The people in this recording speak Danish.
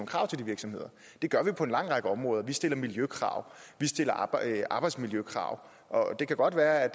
krav til de virksomheder det gør vi på en lang række områder vi stiller miljøkrav vi stiller arbejdsmiljøkrav og det kan godt være at